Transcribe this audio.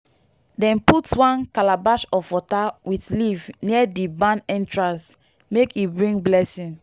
dem put one calabash of water with leaf near di barn entrance make e bring blessing.